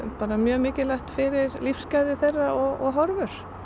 mjög mikilvægt fyrir lífsgæði þeirra og horfur